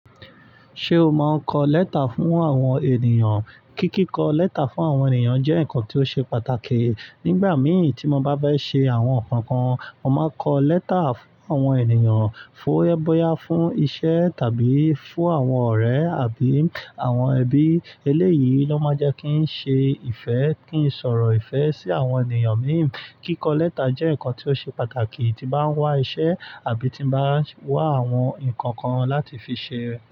Ṣé o máa ń kọ lẹ́tà fún àwọn ènìyàn? Kíkikọ lẹ́tà fún àwọn ènìyàn jẹ́ ǹnkan tí ó ṣe pàtàkì. Nígbà mìí tí mo bá fẹ́ ṣe àwọn nǹkan kan, mo máa ń kọ lẹ́tà fún àwọn ènìyàn, fún ẹ bọyà, fún ìṣe tàbí fún àwọn ọ̀rẹ́ àbí àwọn ẹbí. Eléyìí ló máa jẹ́ kí ń ṣe ìfẹ́, kí n sọ̀rọ̀ ìfẹ́ sí àwọn ènìyàn míì. Kíkọ lẹ́tà jẹ́ nǹkan tí ó ṣe pàtàkì tí bá ń wá iṣẹ́ àbí tí n bá ń wá àwọn ǹnkan kan láti fi ṣe.